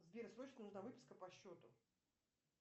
сбер срочно нужна выписка по счету